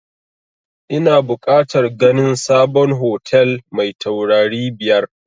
Ina bukatar ganin sabon hotel mai taurari biyar